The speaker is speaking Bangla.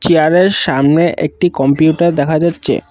চেয়ারের সামনে একটি কম্পিউটার দেখা যাচ্ছে ।